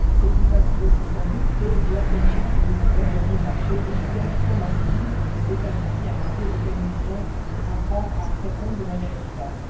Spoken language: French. C'est plus facile aussi sans doute que lorsqu'ils sont sous le joug d'un régime autoritaire, comme en Syrie, mais c'est un défi, un enjeu, auquel nous devons apprendre à répondre de manière efficace.